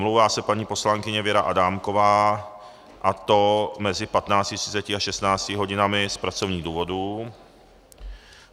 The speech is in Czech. Omlouvá se paní poslankyně Věra Adámková, a to mezi 15.30 a 16 hodinami z pracovních důvodů.